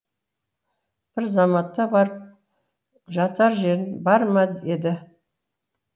бір заматта барып жатар жерің бар ма еді